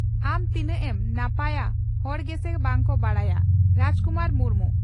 ᱟᱢ ᱛᱤᱱᱟᱹᱜ ᱮᱢ ᱱᱟᱯᱟᱭᱟ ᱦᱚᱲ ᱜᱮᱥᱮ ᱵᱟᱝ ᱠᱚ ᱵᱟᱰᱟᱭᱟ (ᱨᱟᱡᱽ ᱠᱩᱢᱟᱨ ᱢᱩᱨᱢᱩ)